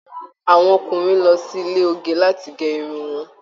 Àwọn ọkùnrin lọ sí ile oge lati gé irun wọn